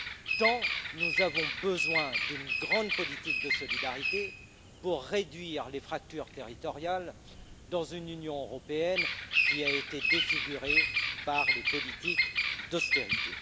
tant nous avons besoin d'une grande politique de solidarité pour réduire les fractures territoriales dans une Union européenne qui a été défigurée par les politiques d'austérité.